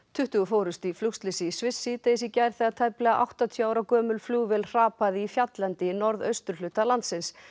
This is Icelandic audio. tuttugu fórust í flugslysi í Sviss síðdegis í gær þegar tæplega áttatíu ára gömul flugvél hrapaði í fjalllendi í norðausturhluta landsins